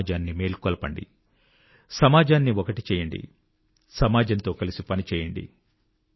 సమాజాన్ని మేల్కొల్పండి సమాజాన్ని ఒకటి చేయండి సమాజంతో కలిసి పనిచేయండి